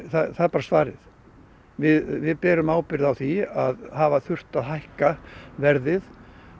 það er bara svarið við berum ábyrgð á því að hafa þurft að hækka verðið